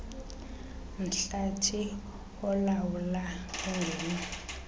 mhlathi ulawula ungeno